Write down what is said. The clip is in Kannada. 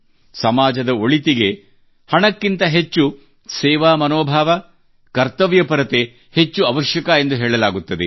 ಸಮಾಜದ ಒಳಿತಿಗೆ ಹಣಕ್ಕಿಂತ ಹೆಚ್ಚು ಸೇವಾ ಮನೋಭಾವ ಕರ್ತವ್ಯಪರತೆ ಹೆಚ್ಚು ಅವಶ್ಯಕ ಎಂದು ಹೇಳಲಾಗುತ್ತದೆ